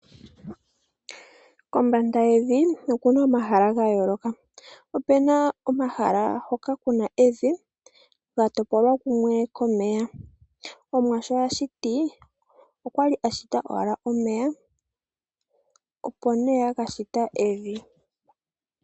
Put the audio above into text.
Kombanda yevi oku na omahala ga yooloka. Opu na omahala ngoka ku na evi lya topolwa kumwe komeya. Omuwa sho a shiti okwa li shiti owala omeya, opo ihe a ka shita evi.